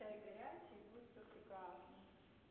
чай горячий будет всё прекрасно